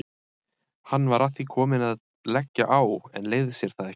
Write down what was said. Hann var að því kominn að leggja á en leyfði sér það ekki.